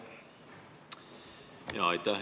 Aitäh!